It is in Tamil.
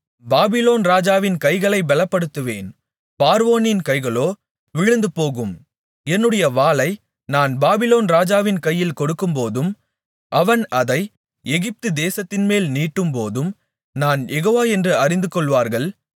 பாபிலோன் ராஜாவின் கைகளைப் பெலப்படுத்துவேன் பார்வோனின் கைகளோ விழுந்துபோகும் என்னுடைய வாளை நான் பாபிலோன் ராஜாவின் கையில் கொடுக்கும்போதும் அவன் அதை எகிப்து தேசத்தின்மேல் நீட்டும்போதும் நான் யெகோவா என்று அறிந்துகொள்வார்கள்